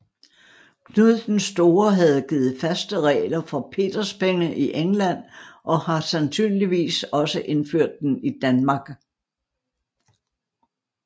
Knud den Store havde givet faste regler for peterspenge i England og har sandsynligvis også indført den i Danmark